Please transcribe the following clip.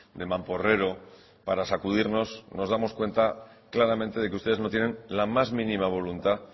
de mamporrero para sacudirnos nos damos cuenta claramente de que ustedes no tienen la más mínima voluntad